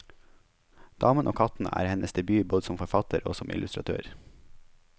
Damen og kattene er hennes debut både som forfatter og som illustratør.